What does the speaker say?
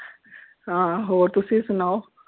ਹਾਂ ਹੋਰ ਤੁਸੀਂ ਸੁਣਾਓ?